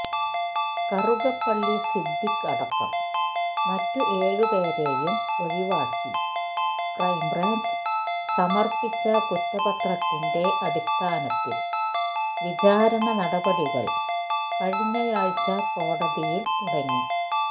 കറുകപ്പള്ളി സിദ്ദിഖ് അടക്കം മറ്റ് ഏഴുപേരെയും ഒഴിവാക്കി ക്രൈംബ്രാഞ്ച് സമര്പ്പിച്ച കുറ്റപത്രത്തിന്റെ അടിസ്ഥാനത്തില് വിചാരണ നടപടികൾ കഴിഞ്ഞയാഴ്ച കോടതിയില് തുടങ്ങി